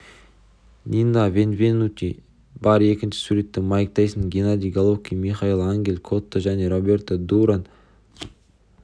нино бенвенути бар екінші суретте майк тайсон геннадий головкин мигель анхель котто және роберто дуран